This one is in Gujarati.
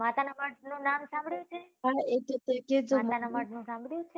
માતા નાં મઢ નું નામ સાંભળ્યું છે માતા ના મઢ નું સાંભળ્યું છે?